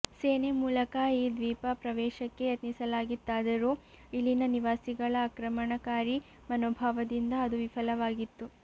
ಸೇನೆ ಮೂಲಕ ಈ ದ್ವೀಪ ಪ್ರವೇಶಕ್ಕೆ ಯತ್ನಿಸಲಾಗಿತ್ತಾದರೂ ಇಲ್ಲಿನ ನಿವಾಸಿಗಳ ಆಕ್ರಮಣಕಾರಿ ಮನೋಭಾವದಿಂದ ಅದು ವಿಫಲವಾಗಿತ್ತು